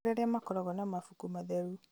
Nĩkũrĩ arĩa makoragwo na mabuku matheru